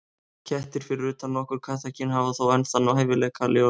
Kettir, fyrir utan nokkur kattakyn, hafa þó enn þann hæfileika að lifa villtir.